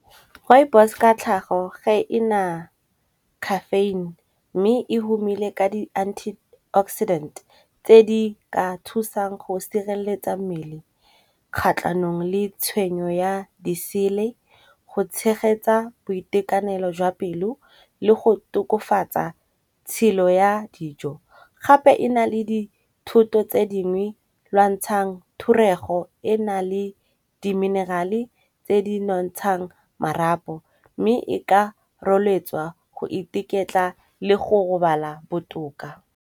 Rooibos ka tlhago ga e na caffeine, mme e humile ka di anti-oxidant tse di ka thusang go sireletsa mmele kgatlhanong le tshwenyo ya disele go tshegetsa boitekanelo jwa pelo le go tokofatsa tshelo ya dijo. Gape e na le dithoto tse dingwe lwantshang thorego e na le di mineral-e tse di bontshang marapo mme e ka rotloetswa go iketla le go robala botoka.